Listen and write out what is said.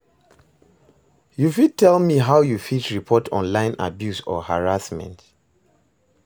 you fit tell me how you fit report online abuse or harassment?